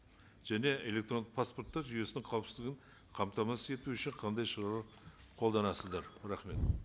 және электронды паспорттар жүйесінің қауіпсіздігін қамтамасыз ету үшін қандай шаралар қолданасыздар рахмет